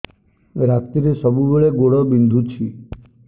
ରାତିରେ ସବୁବେଳେ ଗୋଡ ବିନ୍ଧୁଛି